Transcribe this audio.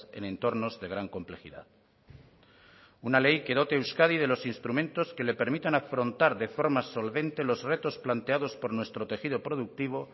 en entornos de gran complejidad una ley que dote a euskadi de los instrumentos que le permitan afrontar de forma solvente los retos planteados por nuestro tejido productivo